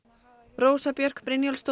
Rósa Björk Brynjólfsdóttir